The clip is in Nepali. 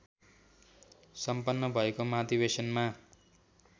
सम्पन्न भएको महाधिवेशनमा